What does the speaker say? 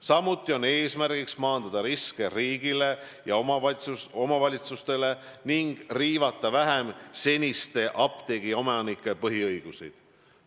Samuti on eesmärk maandada riske riigile ja omavalitsustele ning riivata vähem seniste apteegiomanike põhiõiguseid.